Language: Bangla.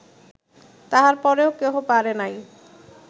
তাঁহার পরেও কেহ পারে নাই